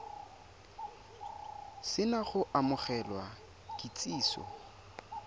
se na go amogela kitsiso